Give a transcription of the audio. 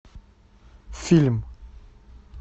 фильм